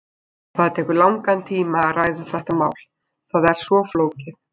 Það tekur langan tíma að ræða þetta mál, það er svo flókið.